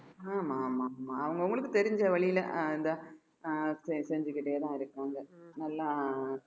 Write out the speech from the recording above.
ஆமா ஆமா ஆமா அவங்க அவங்களுக்கு தெரிஞ்ச வழியில அஹ் இந்த அஹ் செ~ செஞ்சுகிட்டேதான் இருக்காங்க நல்லா